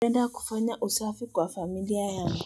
Napenda kufanya usafi kwa familia yangu.